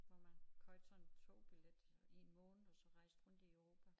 Hvor man købte sådan en togbillet i en måned og så rejste rundt i Europa